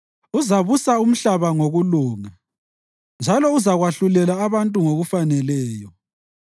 Uzabusa umhlaba ngokulunga njalo uzakwahlulela abantu ngokufaneleyo.